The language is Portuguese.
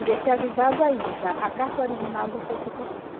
E deixei avisado ainda, a carta original já foi para o correio.